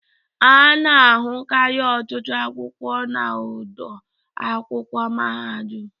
Ana ahụkari ọtụtụ akwụkwọ na ọdọ akwụkwọ mahadum.